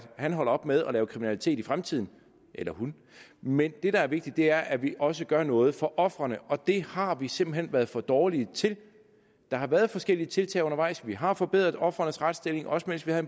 han holder op med at lave kriminalitet i fremtiden eller hun men det der er vigtigt er at vi også gør noget for ofrene og det har vi simpelt hen været for dårlige til der har været forskellige tiltag undervejs vi har forbedret ofrenes retsstilling også mens vi havde